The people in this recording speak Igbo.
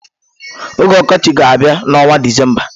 Oge ọkọchị ga-abịa n'ọnwa Disemba.